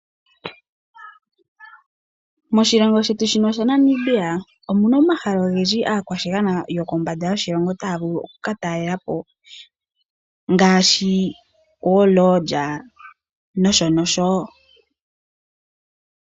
Moshilongo shetu shino shaNamibia omuna omahala ogendji aakwashigwana yokombanda yoshilongo taya vulu oku katalelapo ngaashi omakuti noshonosho.